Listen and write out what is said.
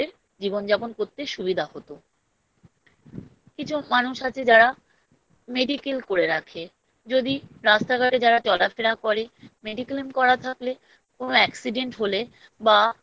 জীবনযাপন করতে সুবিধা হতো কিছু মানুষ আছে যারা Medical করে রাখে যদি রাস্তা ঘটে যারা চলাফেরা করে Mediclaim করা থাকলে কোনো Accident হলে বা